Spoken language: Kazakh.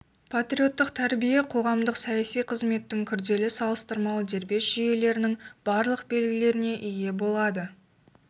патриоттық тәрбие қоғамдық-саяси қызметтің күрделі салыстырмалы дербес жүйелерінің барлық белгілеріне ие болады